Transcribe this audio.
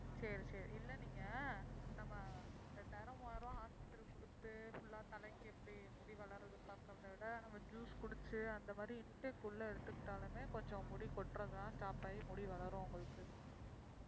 சரி சரி இல்ல நீங்க நம்ம இரண்டாயிரம் மூவாயிரம் ரூபாய் hospital க்கு கொடுத்து full ஆ தலைக்கு எப்படி முடி வளருதுன்னு பாக்கறதைவிட நாம juice குடிச்சி அந்த மாதிரி intake உள்ள எடுத்துக்கிட்டாலுமே கொஞ்சம் முடி கொட்றதெல்லாம் stop ஆயி முடி வளரும் உங்களுக்கு